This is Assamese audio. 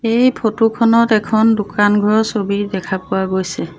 এই ফটো খনত এখন দোকানঘৰৰ ছবি দেখা পোৱা গৈছে।